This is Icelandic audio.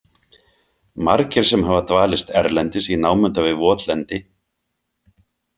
Margir sem hafa dvalist erlendis í námunda við votlendi.